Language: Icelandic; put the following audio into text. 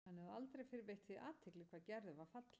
Hann hafði aldrei fyrr veitt því athygli hvað Gerður var falleg.